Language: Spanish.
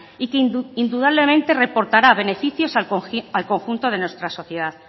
y que indudablemente reportará beneficios al conjunto de nuestra sociedad